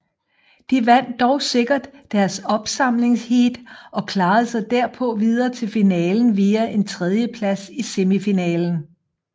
De vandt dog sikkert deres opsamlingsheat og klarede sig derpå videre til finalen via en tredjeplads i semifinalen